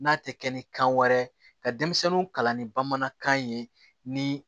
N'a tɛ kɛ ni kan wɛrɛ ye ka denmisɛnninw kalan ni bamanankan ye ni